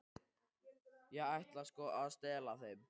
Ég ætlaði sko að stela þeim.